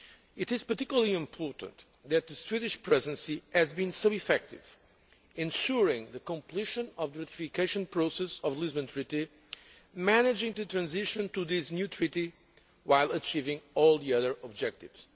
It is particularly important that the Swedish Presidency has been so effective in ensuring the completion of the ratification process of the Lisbon Treaty, managing the transition to this new treaty while achieving all the other objectives.